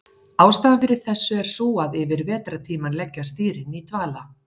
ástæðan fyrir þessu er sú að yfir vetrartímann leggjast dýrin í dvala